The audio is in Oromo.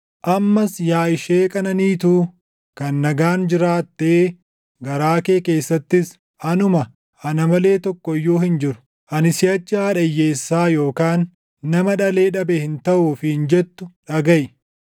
“Ammas yaa ishee qananiituu, kan nagaan jiraattee garaa kee keessattis, ‘Anuma; ana malee tokko iyyuu hin jiru; ani siʼachi haadha hiyyeessaa yookaan nama dhalee dhabe hin taʼu’ ofiin jettu dhagaʼi.